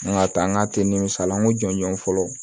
An ka taa an ka tinw san an ko jɔn jɔn fɔlɔ